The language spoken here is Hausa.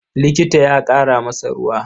Likita ya ƙara masa ruwa.